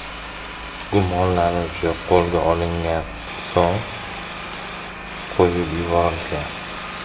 Gumonlanuvchi qo‘lga olingan, so‘ng qo‘yib yuborilgan.